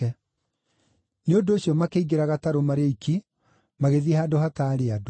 Nĩ ũndũ ũcio makĩingĩra gatarũ marĩ oiki, magĩthiĩ handũ hataarĩ andũ.